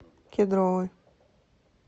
кедровый